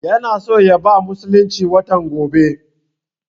Yana so ya bar musulunci watan gobe